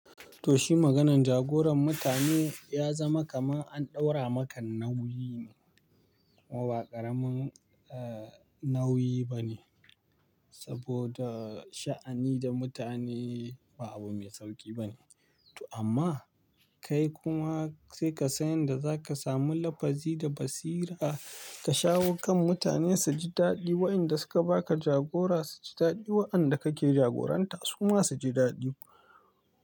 Toh shi maganan jagoran mutane ya zama kaman an ɗaura maka nauyi ne, kuma ba ƙaramin, eh, nauyi bane. Saboda sha'ani da mutane ba abu mai sauƙi bane. To amma kai kuma sai ka san yanda zaka samu lafazi da basira ka shawo kan mutane su ji daɗi waɗanda suka baka jagora su ji daɗi waɗanda kake jagoranta su ma su ji daɗi.